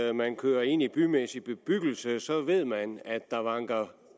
at man kører ind i bymæssig bebyggelse og så ved man at der vanker